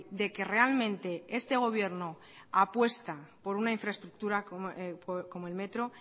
de que realmente este gobierno apuesta por una infraestructura como el metro